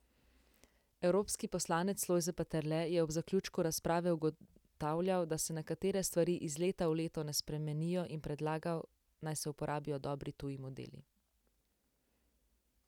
Evropski poslanec Lojze Peterle je ob zaključku razprave ugotavljal, da se nekatere stvari iz leta v leto ne spremenijo in predlagal, naj se uporabijo dobri tuji modeli.